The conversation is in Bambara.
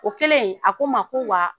O kɛlen a ko ma ko wa